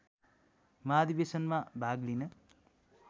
महाधिवेशनमा भाग लिन